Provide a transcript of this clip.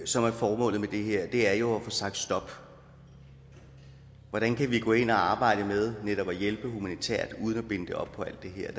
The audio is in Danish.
som er formålet med det her er jo at få sagt stop hvordan kan vi gå ind og arbejde med netop at hjælpe humanitært uden at binde det op på alt det her